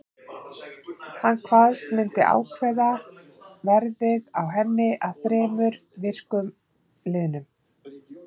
Hann kvaðst myndu ákveða verðið á henni að þremur vikum liðnum.